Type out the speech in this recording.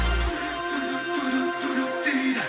жүрек дейді